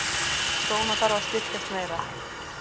Krónan þarf að styrkjast meira